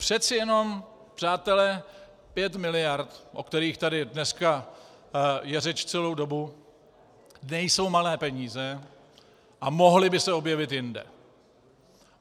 Přece jenom, přátelé, pět miliard, o kterých tady dneska je řeč celou dobu, nejsou malé peníze a mohly by se objevit jinde.